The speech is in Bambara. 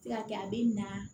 Se ka kɛ a bɛ na